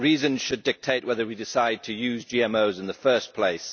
Reason should dictate whether we decide to use GMOs in the first place.